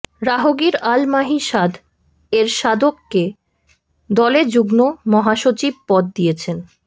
রাহগীর আল মাহি সাদ এরশাদকে দলে যুগ্ম মহাসচিব পদ দিয়েছেন